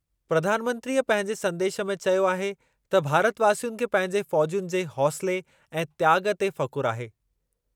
प्रधानमंत्रीअ पंहिंजे संदेशु में चयो आहे त भारतवासियुनि खे पंहिंजे फ़ौज़ियुनि जे हौंसले ऐं त्याॻु ते फ़ख़ुर आहे।